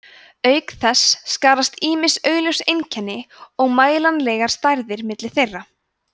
auk þess skarast ýmis augljós einkenni og mælanlegar stærðir milli þeirra